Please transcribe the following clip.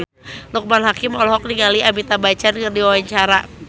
Loekman Hakim olohok ningali Amitabh Bachchan keur diwawancara